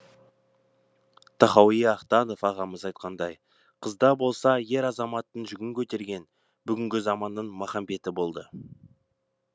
тахауи ахтанов ағамыз айтқандай қызда болса ер азаматтың жүгін көтерген бүгінгі заманның махамбеті болды